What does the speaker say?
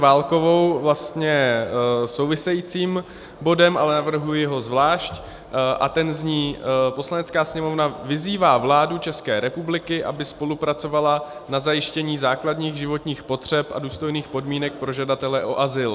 Válkovou vlastně souvisejícím bodem, ale navrhuji ho zvlášť, a ten zní: "Poslanecká sněmovna vyzývá vládu České republiky, aby spolupracovala na zajištění základních životních potřeb a důstojných podmínek pro žadatele o azyl."